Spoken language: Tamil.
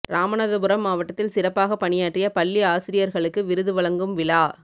ராமநாதபுரம் மாவட்டத்தில் சிறப்பாக பணியாற்றிய பள்ளி ஆசிரியா்களுக்கு விருது வழங்கும் விழா